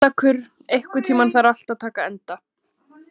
Kjallakur, einhvern tímann þarf allt að taka enda.